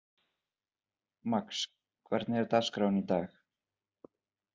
Max, hvernig er dagskráin í dag?